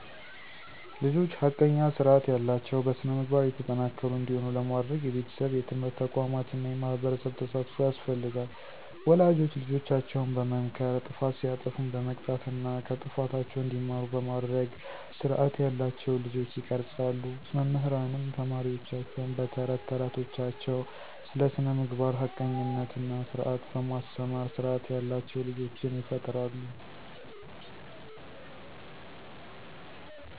ልጆች ሐቀኛ፣ ስርዐት ያላቸው፣ በስነ-ምግባር የተጠናከሩ እንዲሆኑ ለማድረግ የቤተሰብ፣ የትምህርት ተቋማት እና የማህበረሰብ ተሳትፎ ያስፈልጋል። ወላጆች ልጆቻቸውን በመምከር ጥፋት ሲያጠፉም በመቅጣት እና ከጥፋታቸው እንዲማሩ በማድረግ ስርዐት ያላቸውን ልጆች ይቀርፃሉ። መምህራንም ተማሪወቻቸውን በ ተረት ተረቶቻቸው ስለ ስነምግባር፣ ሀቀኝነት እና ስርዐት በማስተማር ስርዓት ያላቸው ልጆችን ይፈጥራሉ።